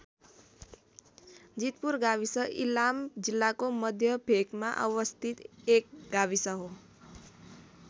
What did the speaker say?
जितपुर गाविस इलाम जिल्लाको मध्य भेकमा अवस्थित एक गाविस हो।